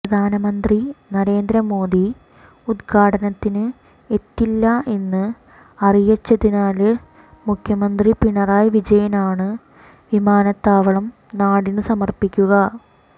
പ്രധാനമന്ത്രി നരേന്ദ്ര മോദി ഉദ്ഘാടനത്തിന് എത്തില്ല എന്ന് അറിയിച്ചതിനാല് മുഖ്യമന്ത്രി പിണറായി വിജയനാണ് വിമാനത്താവളം നാടിന് സമര്പ്പിക്കുക